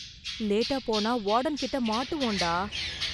லேட்டா போனா வார்டன் கிட்ட மாட்டுவோம் டா.